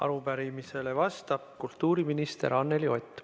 Arupärimisele vastab kultuuriminister Anneli Ott.